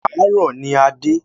Àárọ̀ ní a dé.